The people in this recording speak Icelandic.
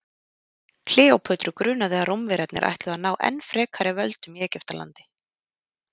kleópötru grunaði að rómverjarnir ætluðu að ná enn frekari völdum í egyptalandi